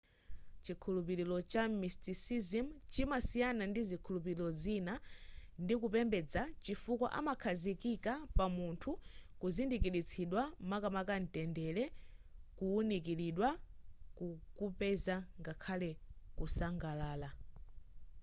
chikhulupiliro cha mysticism chimasiyana ndi zikhulupiliro zina ndi kupembeza chifukwa amakhazikika pa munthu kuzindikilitsidwa makamaka ntendere kuunikilidwa kuupeza ngakhale ku sangalala